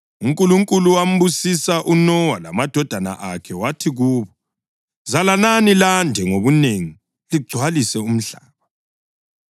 UNkulunkulu wambusisa uNowa lamadodana akhe wathi kubo, “Zalanani lande ngobunengi ligcwalise umhlaba.